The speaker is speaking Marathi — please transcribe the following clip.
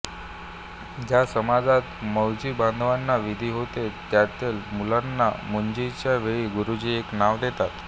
ज्या समाजांत मौंजीबंधनाचा विधी होतो त्यांतल्या मुलग्यांना मुंजीच्या वेळी गुरुजी एक नाव देतात